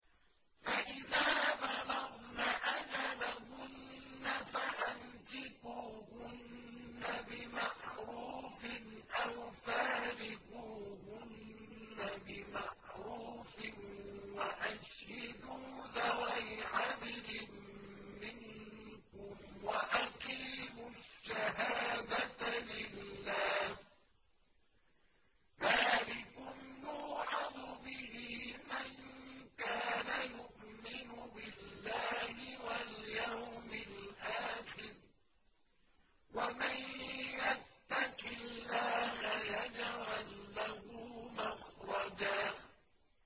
فَإِذَا بَلَغْنَ أَجَلَهُنَّ فَأَمْسِكُوهُنَّ بِمَعْرُوفٍ أَوْ فَارِقُوهُنَّ بِمَعْرُوفٍ وَأَشْهِدُوا ذَوَيْ عَدْلٍ مِّنكُمْ وَأَقِيمُوا الشَّهَادَةَ لِلَّهِ ۚ ذَٰلِكُمْ يُوعَظُ بِهِ مَن كَانَ يُؤْمِنُ بِاللَّهِ وَالْيَوْمِ الْآخِرِ ۚ وَمَن يَتَّقِ اللَّهَ يَجْعَل لَّهُ مَخْرَجًا